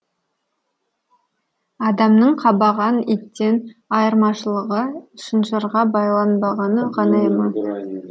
адамның қабаған иттен айырмашылығы шынжырға байланбағаны ғана ма